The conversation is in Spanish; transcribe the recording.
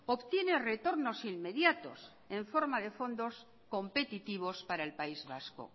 obtiene retornos inmediatos en forma de fondos competitivos para el país vasco